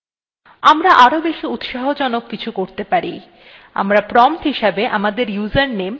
আমরা আরও বেশি উৎসাহজনক কিছু করতে পারি আমরা prompt হিসাবে আমাদের username প্রদর্শন করতে পারি